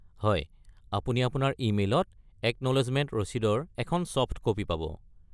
হয়, আপুনি আপোনাৰ ই-মেইলত একন'লেজমেণ্ট ৰচিদৰ এখন ছফ্ট ক'পি পাব।